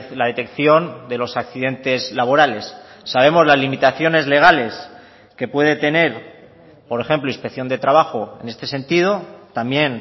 la detección de los accidentes laborales sabemos las limitaciones legales que puede tener por ejemplo inspección de trabajo en este sentido también